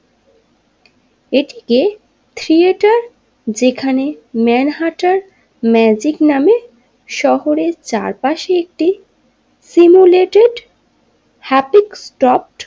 এখানে থিয়েটার যেখানে মানহারটার ম্যাজিক নামে শহরের চারপাশে একটি সিমুলেটেড হ্যাপিক টপ।